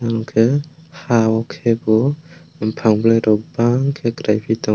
oro ke ha o kebo bopang bulai rog bang ke keilai pi tango.